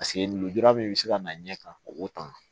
Paseke lujura min bɛ se ka na ɲɛ ka o tan